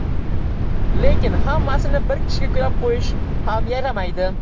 Lekin hammasini bir kishiga yuklab qo‘yish ham yaramaydi.